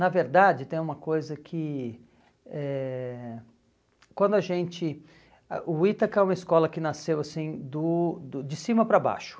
Na verdade, tem uma coisa que... eh quando a gente... Ah, o Ítaca é uma escola que nasceu assim do do de cima para baixo.